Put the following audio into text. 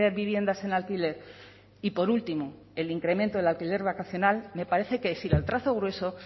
viviendas en alquiler y por último el incremento del alquiler vacacional me parece que es ir al trazo grueso